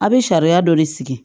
A bɛ sariya dɔ de sigi